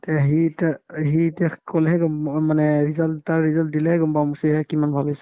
তে সি এতিয়া অ সি এতিয়া ক'লেহে গম অম মানে result তাৰ result দিলেহে গম পাম সিধাই কিমান ভাল হৈছে ?